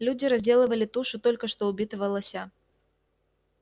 люди разделывали тушу только что убитого лося